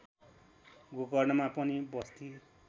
गोकर्णमा पनि बस्ती